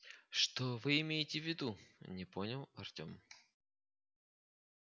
что вы имеете в виду не понял артем